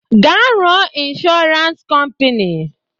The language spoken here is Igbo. Gaa rụọ ịnshọransị kọmpini!